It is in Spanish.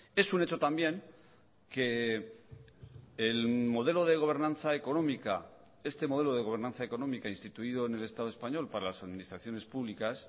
es un hecho también que el modelo de gobernanza económica este modelo de gobernanza económica instituido en el estado español para las administraciones públicas